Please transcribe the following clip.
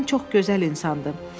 Atam çox gözəl insandır.